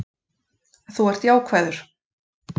Þú ert jákvæður.